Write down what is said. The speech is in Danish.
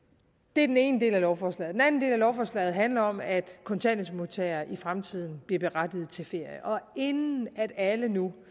det er den ene del af lovforslaget den anden del af lovforslaget handler om at kontanthjælpsmodtagere i fremtiden bliver berettiget til ferie og inden alle nu